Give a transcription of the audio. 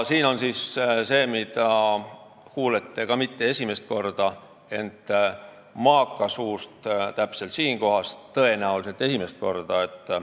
See on see, mida te ei kuule küll mitte esimest korda, ent maaka suust kuulete täpselt siin kohas tõenäoliselt esimest korda.